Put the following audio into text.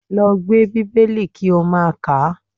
Lọ gbé Bíbélì kí ó máa kàá!